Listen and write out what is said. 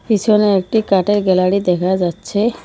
পিছনে একটি কাঠের গ্যালারি দেখা যাচ্ছে।